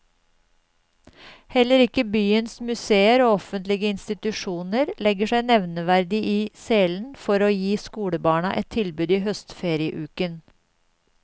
Heller ikke byens museer og offentlige institusjoner legger seg nevneverdig i selen for å gi skolebarna et tilbud i høstferieuken.